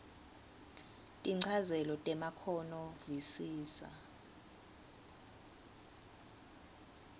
tinchazelo temakhono visisa